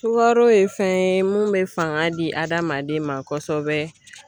Sukaro ye fɛn ye mun bɛ fanga di hadamaden ma kosɛbɛ.